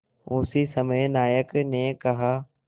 उसी समय नायक ने कहा